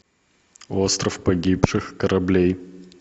остров погибших кораблей